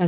ای